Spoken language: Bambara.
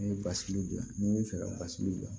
N'i ye basilu bila ni fɛ ka basi wuli dilan